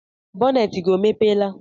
boneti gị ọ mepela?